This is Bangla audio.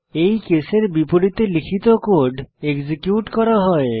এই কেসের বিপরীতে লিখিত কোড এক্সিকিউট করা হবে